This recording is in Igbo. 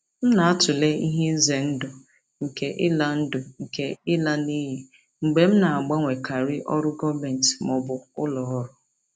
M na-atụle ihe ize ndụ nke ịla ndụ nke ịla n'iyi mgbe m na-agbanwekarị ọrụ gọọmentị ma ọ bụ ụlọ ọrụ.